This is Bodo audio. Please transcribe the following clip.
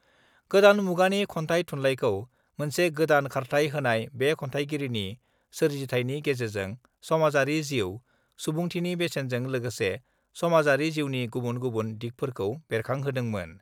गोदान मुगानि खन्थाइ थुनलाइखौ मोनसे गोदान खारथाय होनाय बे खन्थाइगिरिनि सोरजिथायनि गेजेरजों समाजारि जिउ, सुबुंथिनि बेसेनजों लोगोसे समाजारि जिउनि गुबुन गुबुन दिगफोरखौ बेरखांहोदोमोन।